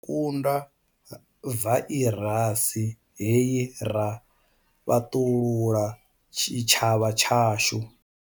Ri ḓo kunda vairasi hei ra fhaṱulula tshitshavha tshashu.